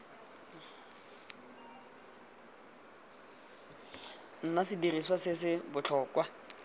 nna sediriswa se se botlhokwa